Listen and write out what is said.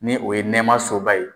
Ni o ye nɛmasoba ye.